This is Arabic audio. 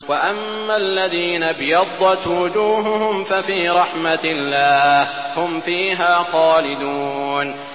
وَأَمَّا الَّذِينَ ابْيَضَّتْ وُجُوهُهُمْ فَفِي رَحْمَةِ اللَّهِ هُمْ فِيهَا خَالِدُونَ